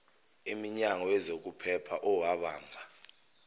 imnyango wezokuphepha owabamba